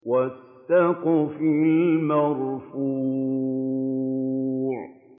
وَالسَّقْفِ الْمَرْفُوعِ